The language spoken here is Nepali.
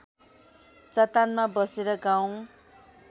चट्टानमा बसेर गाउँ